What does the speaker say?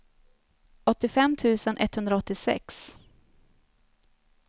åttiofem tusen etthundraåttiosex